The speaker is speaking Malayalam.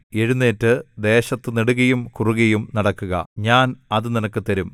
എഴുന്നേറ്റ് ദേശത്ത് നെടുകെയും കുറുകെയും നടക്കുക ഞാൻ അത് നിനക്ക് തരും